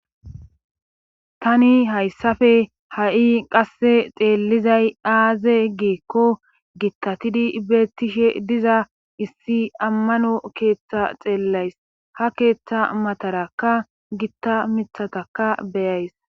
tani hayssafe ha7i qasse xeellizay aaze giikko gittatidi betishe diza issi ammano keeththa xeellays ha keeththa matarakka gitta mithataka beyays